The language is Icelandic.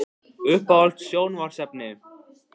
Uppáhalds sjónvarpsefni?